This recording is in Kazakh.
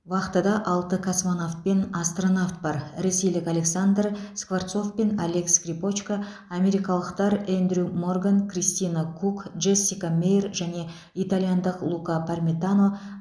вахтада алты космонавт пен астронавт бар ресейлік александр скворцов пен олег скрипочка америкалықтар эндрю морган кристина кук джессика меир және итальяндық лука пармитано